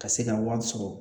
Ka se ka wari sɔrɔ